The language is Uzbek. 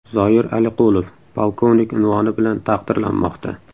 Zoir Aliqulov polkovnik unvoni bilan taqdirlanmoqda.